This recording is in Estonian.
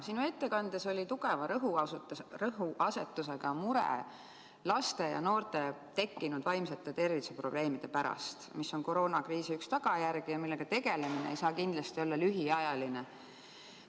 Sinu ettekandes oli tugeva rõhuasetusega mure laste ja noorte vaimse tervise probleemide pärast, mis on koroonakriisi üks tagajärgi ja millega tegelemine ei saa kindlasti olla lühiajaline.